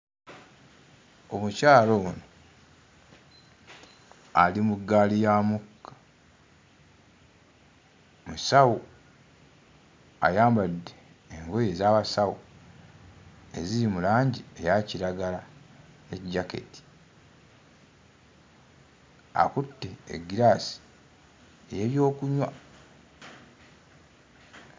Omukyala ono ali mu ggaali ya mukka. Musawo, ayambadde engoye ez'abasawo eziri mu langi eya kiragala ne jjaketi. Akutte eggiraasi ey'ebyokunywa.